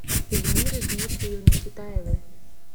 эльмиры дмитриевны китаевой